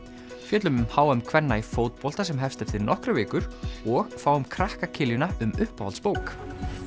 fjöllum um h m kvenna í fótbolta sem hefst eftir nokkrar vikur og fáum krakka um uppáhaldsbók